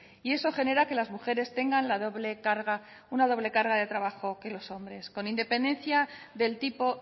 y eso genera que las mujeres tengan la doble carga una doble carga de trabajo que los hombres con independencia del tipo